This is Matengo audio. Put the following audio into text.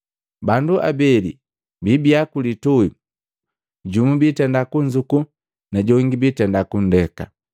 Bandu abeli biibia kulitui, jumu biitenda kunzuku najongi biitenda kundeka.